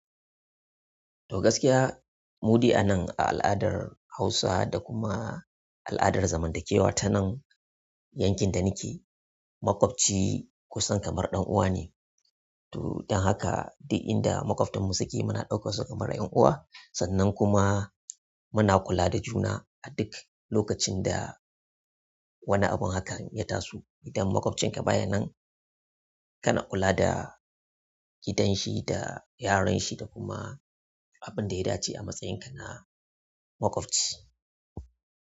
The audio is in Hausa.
To gaskiya, mudai anan a al'adar Hausa da kuma al'adar zamantakewa ta nan yankin da nake, maƙwabci kusan kamar ɗan uwa ne. To don haka duk inda maƙwabtarmu suke muna ɗaukan su kamar 'yan uwa. Sannan kuma muna kula da juna a duk lokacin da wani abun hakan ya taso. Idan maƙwabcin ka bayan nan kana kula da gidanshi da yaran shi da kuma abin da ya dace a matsayinka na maƙwabci.